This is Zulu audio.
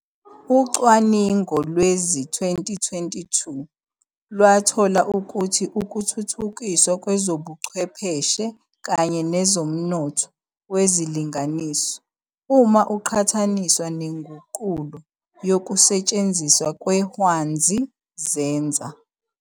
Ucwaningovlowezi-2022 lwathola ukuthi ukuthuthukiswa kwezobuchwepheshe kanye nezOmnotho wezilinganiso, uma kuqhathaniswa nengunqulo yokusetshenziswa kweHwanzi, zenza.